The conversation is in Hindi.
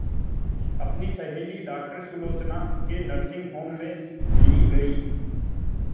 अपनी सहेली डॉक्टर सुलोचना के नर्सिंग होम में ली गई